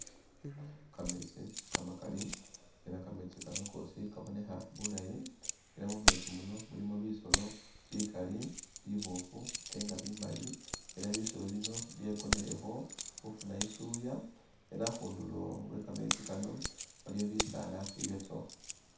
Kameetsi kamakali ela kameetsi kano kosi kabonekha bulaayi ela mumeetsi muno mulimo bisolo bikali biboofu ate nga bimali. Ela bisolo bino byekonelekho khufuna isuuya ela akhundulo we kameetsi kano waliyo bisaala ibyatsowa.